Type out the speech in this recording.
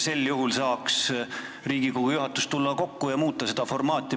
Sel juhul saaks Riigikogu juhatus kokku tulla ja seda formaati muuta.